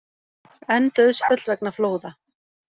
Enn dauðsföll vegna flóða